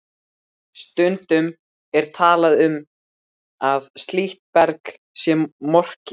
Stundum er talað um að slíkt berg sé morkið.